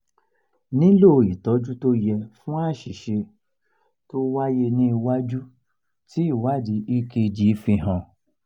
nilo ìtọ́jú tó yẹ fún àṣìṣe tó wáyé ní iwájú ti ìwádìí ekg fi han